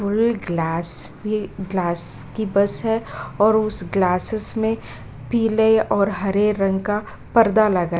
full glass भी glass की बस है और उस ग्लासेज में पीले और हरे रंग का पर्दा लगा --